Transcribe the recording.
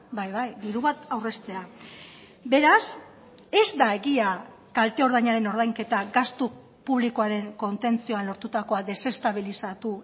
bai bai diru bat aurreztea beraz ez da egia kalte ordainaren ordainketa gastu publikoaren kontentzioan lortutakoa deseztabilizatu